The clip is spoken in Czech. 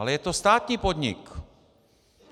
Ale je to státní podnik!